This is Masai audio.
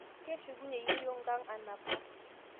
Keshukunye yeiyo nkang anapar